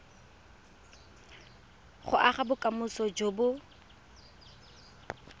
go aga bokamoso jo bo